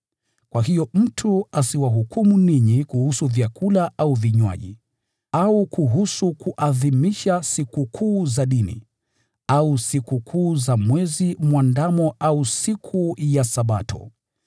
Kwa hiyo mtu asiwahukumu ninyi kuhusu vyakula au vinywaji, au kuhusu kuadhimisha sikukuu za dini, au Sikukuu za Mwezi Mwandamo au siku ya Sabato.